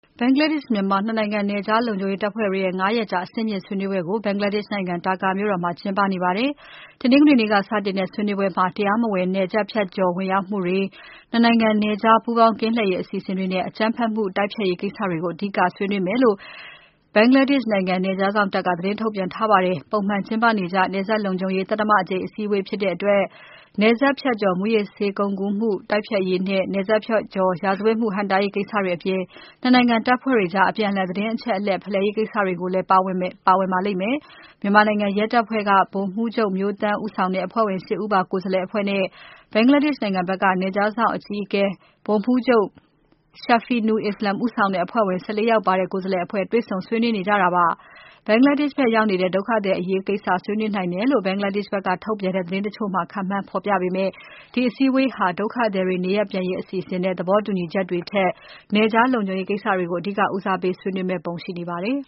ဘင်္ဂလားဒေ့ရှ်- မြန်မာ နှစ်နိုင်ငံ နယ်ခြား လုံခြုံရေးတပ်ဖွဲ့တွေရဲ့ ငါးရက်ကြာ အဆင့်မြင့် ဆွေးနွေးပွဲ ဘင်္ဂလားဒေ့ရှ်နိုင်ငံ Dhaka မြို့မှာ မနေ့က စတင်ကျင်းပပြီး တရားမဝင်နယ်စပ်ဖြတ်ကျော် ဝင်ရောက်မှုတွေ၊ နှစ်နိုင်ငံ နယ်ခြား ပူးပေါင်း ကင်းလှည့်ရေး အစီအစဉ်တွေနဲ့ အကြမ်းဖက်မှု တိုက်ဖျက်ရေးကိစ္စတွေကို အဓိက ဆွေးနွေးမယ်လို့ ဘင်္ဂလားဒေ့ရှ်နိုင်ငံ နယ်ခြားစောင့်တပ်က သတင်းထုတ်ပြန်ထားပါတယ်။ ပုံမှန်ကျင်းပနေကြ နယ်စပ်လုံခြုံရေး သတ္တမအကြိမ် အစည်းအဝေး ဖြစ်တဲ့အတွက် နယ်ခြား မူးယစ်ဆေးဝါး ကုန်ကူးမှု တိုက်ဖျက်ရေးနဲ့ နယ်စပ်ကျော် ရာဇဝတ်မှု ဟန့်တားရေး ကိစ္စတွေအပြင် နှစ်နိုင်ငံ တပ်ဖွဲ့တွေအကြား အပြန်အလှန် သတင်းအချက်အလက် ဖလှယ်ရေး ကိစ္စတွေလည်းလည်း ပါဝင်ပါလိမ့်မယ်။ မြန်မာနိုင်ငံရဲတပ်ဖွဲ့က ဗိုလ်မှူးချုပ် မျိုးသန်း ဦးဆောင်တဲ့ အဖွဲ့ဝင် ၈ ဦးပါ ကိုယ်စားလှယ်အဖွဲ့နဲ့ ဘင်္ဂလားဒေ့ရှ်နိုင်ငံဘက်က နယ်ခြားစောင့်တပ် အကြီးအကဲ ဗိုလ်မှူးချုပ် Shafeenu Islam ဦးဆောင်တဲ့ အဖွဲ့ဝင် ၁၄ ဦးပါ ကိုယ်စားလှယ်အဖွဲ့ တွေ့ဆုံဆွေးနွေးကြတာပါ။ ဘင်္ဂလားဒေ့ရှ်နိုင်ငံဘက် ရောက်နေတဲ့ ဒုက္ခသည်အရေးကိစ္စကို ဆွေးနွေးနိုင်တယ်လို့ ဘင်္ဂလားဒေ့ရှ်နိုင်ငံထုတ် သတင်းတချို့မှာ ခန့်မှန်း ဖေါ်ပြပေမယ့် ဒီအစည်းအဝေးဟာ ဒုက္ခသည်တွေ နေရပ်ပြန်ရေး အစီအစဉ်နဲ့ သဘောတူညီချက်တွေထက်၊ နယ်ခြား လုံခြုရေးကိစ္စတွေကို အဓိက ဦးစားပေး ဆွေးနွေးမယ့်ပုံ ရှိနေပါတယ်